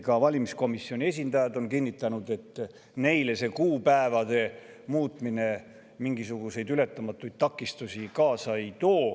Ka valimiskomisjoni esindajad on kinnitanud, et neile see kuupäevade muutmine mingisuguseid ületamatuid takistusi kaasa ei too.